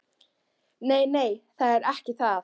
Nei, nei, það er ekki það.